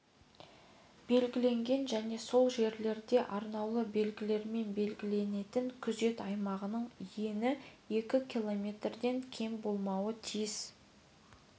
белгіленетін және сол жерлерде арнаулы белгілерімен белгіленетін күзет аймағының ені екі километрден кем болмауға тиіс